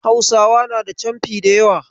Hausawa na da canfi da yawa.